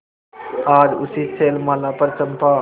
आज उसी शैलमाला पर चंपा